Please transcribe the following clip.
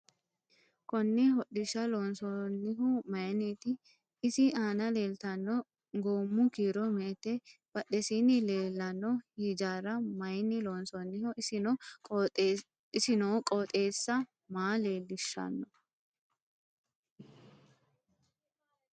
Konne hodhisha loonsoonihu mayiiniti isi aana leelttann goomu kiiro me'ete badhesiini leeleelanno hijaara mayiini loonsooniho isi noo qooxeesi maa leelishanno